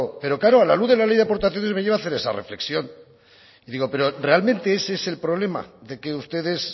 pero claro a la luz de la ley de aportaciones me lleva a hacer esa reflexión y digo pero realmente ese es el problema de que ustedes